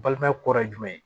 Balimaya kɔrɔ ye jumɛn